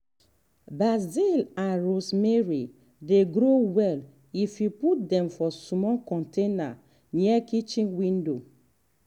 basil and rosemary dey grow well if you put dem for small container near kitchen window.